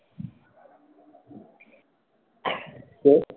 কে?